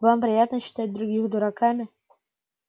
вам приятно считать других дураками